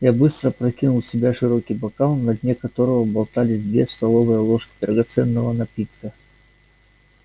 я быстро опрокинул в себя широкий бокал на дне которого болталось две столовые ложки драгоценного напитка